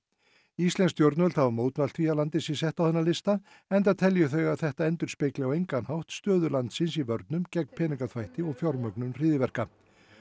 íslensk stjórnvöld hafa mótmælt því að landið sé sett á þennan lista enda telji þau að þetta endurspegli á engan hátt stöðu landsins í vörnum gegn peningaþvætti og fjármögnun hryðjuverka